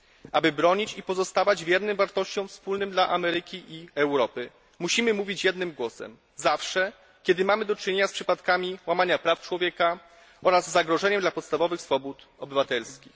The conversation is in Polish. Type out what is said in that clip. Aby bronić i pozostawać wiernym wartościom wspólnym dla Ameryki i Europy musimy mówić jednym głosem zawsze, kiedy mamy do czynienia z przypadkami łamania praw człowieka oraz zagrożeniem dla podstawowych swobód obywatelskich.